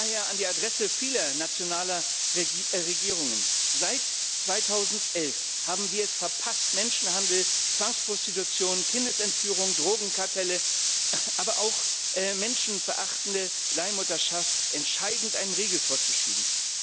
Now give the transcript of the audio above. Daher an die Adresse vieler nationaler Regierungen Seit 2011 haben wir es verpasst, Menschenhandel, Zwangsprostitution, Kindesentführung, Drogenkartellen, aber auch menschenverachtender Leihmutterschaft entscheidend einen Riegel vorzuschieben.